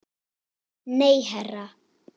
Nei, herra